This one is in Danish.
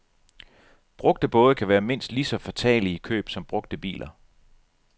Brugte både kan være mindst lige så fatale i køb som brugte biler.